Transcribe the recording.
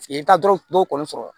I bɛ taa dɔrɔn dɔw kɔni sɔrɔ